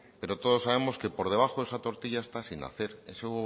pero todos sabemos que por debajo esa tortilla está sin hacer ese huevo